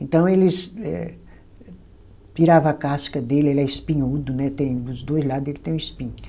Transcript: Então eles eh tirava a casca dele, ele é espinhudo, né, tem os dois lado ele tem espinho.